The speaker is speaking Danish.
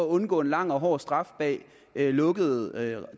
undgå en lang og hård straf bag lukkede